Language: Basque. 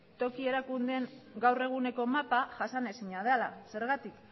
toki erakundeen gaur eguneko mapa jasanezina dela zergatik